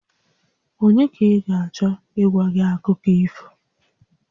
Ònye ka ị ga-achọ ịgwa gị akụkọ ifo?